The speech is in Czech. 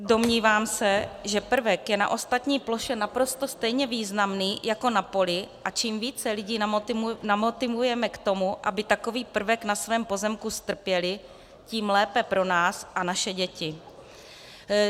Domnívám se, že prvek je na ostatní ploše naprosto stejně významný jako na poli, a čím více lidí namotivujeme k tomu, aby takový prvek na svém pozemku strpěli, tím lépe pro nás a naše děti.